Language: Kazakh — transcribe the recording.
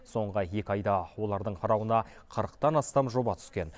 соңғы екі айда олардың қарауына қырықтан астам жоба түскен